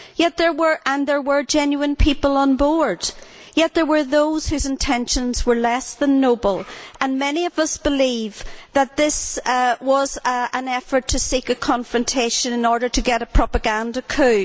There were genuine people on board and yet there were those whose intentions were less than noble. Many of us believe that this was an effort to seek a confrontation in order to get a propaganda coup.